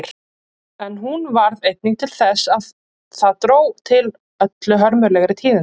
En hún varð einnig til þess að það dró til öllu hörmulegri tíðinda.